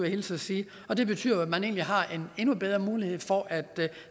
hilse og sige og det betyder at man egentlig har en endnu bedre mulighed for at